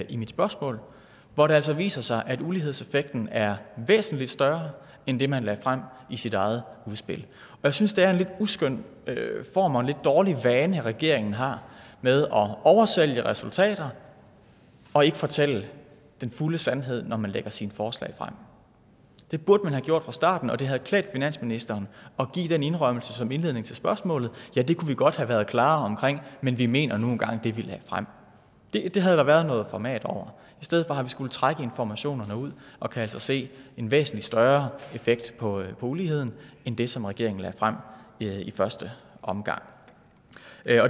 i mit spørgsmål hvor det altså viser sig at ulighedseffekten er væsentlig større end det man lagde frem i sit eget udspil jeg synes det er en lidt uskøn form og dårlig vane regeringen har med at oversælge resultater og ikke fortælle den fulde sandhed når man lægger sine forslag frem det burde man have gjort fra starten og det havde klædt finansministeren at give den indrømmelse som indledning til spørgsmålet ja det kunne vi godt have været klarere omkring men vi mener nu engang det vi lagde frem det havde der været noget format over i stedet for har vi skullet trække informationerne ud og kan altså se en væsentlig større effekt på uligheden end det som regeringen lagde frem i første omgang